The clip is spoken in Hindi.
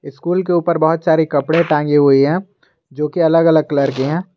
स्कूल के ऊपर बहुत सारे कपड़े टंगे हुए हैं जो की अलग अलग कलर के हैं।